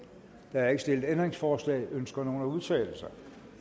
der er ikke stillet ændringsforslag ønsker nogen at udtale sig